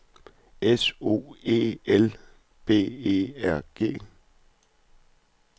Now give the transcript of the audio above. S O E L B E R G